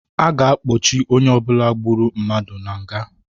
A ga-akpọchị onye ọbụla gburu mmadụ na nga